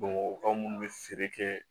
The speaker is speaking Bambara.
Bamakɔkaw minnu bɛ feere kɛ